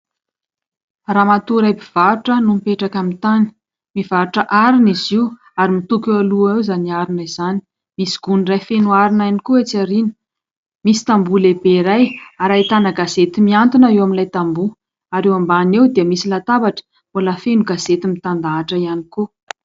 Ramatoa iray mpivarotra no mipetraka amin'ny tany. Mivarotra arina izy io ary mitoko eo aloha eo izany arina izany, misy gony iray feno arina ihany koa etsy aoriana. Misy tamboho lehibe iray, ary ahitana gazety mihantona eo amin'ilay tamboho, ary eo ambany eo dia misy latabatra mbola feno gazety mitandahatra ihany koa.